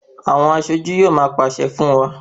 Àwọn aṣojú yóò máa pàṣẹ fún wa.